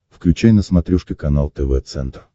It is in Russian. включай на смотрешке канал тв центр